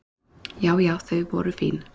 Já já þau voru fín.